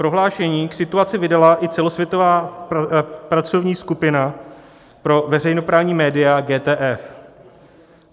Prohlášení k situaci vydala i celosvětová pracovní skupina pro veřejnoprávní média GTF.